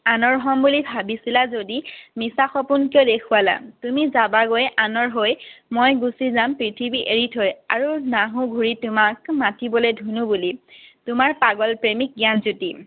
আনৰ হম বুলি ভাবিছিলা যদি মিছা সপোন কিয় দেখুৱালা? তুমি যাবাগৈ আনৰ হৈ, মই গুছি যাম পৃথিৱী এৰি থৈ। আৰু নাহো ঘূৰি তোমাক মাতিবলৈ ধুনু বুলি। তোমাৰ পাগল প্ৰেমিক জ্ঞানজ্যোতি।